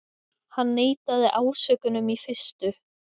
Hann neitaði ásökunum í fyrstu